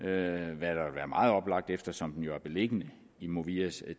vil være meget oplagt eftersom den jo er beliggende i movias